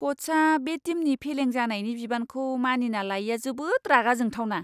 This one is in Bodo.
क'चआ बे टीमनि फेलें जानायनि बिबानखौ मानिना लायैआ जोबोद रागा जोंथावना!